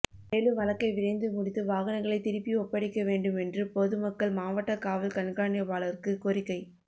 மேலும் வழக்கை விரைந்து முடித்து வாகனங்களை திருப்பி ஒப்படைக்க வேண்டுமென்று பொதுமக்கள்மாவட்டகாவல் கண்காணிப்பாளருக்கு கோரிக்கை